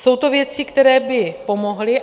Jsou to věci, které by pomohly.